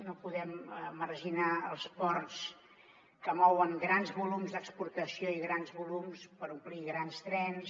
no podem marginar els ports que mouen grans volums d’exportació i grans volums per omplir grans trens